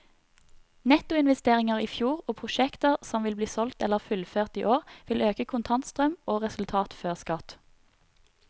Nettoinvesteringer i fjor og prosjekter som vil bli solgt eller fullført i år, vil øke kontantstrøm og resultat før skatt.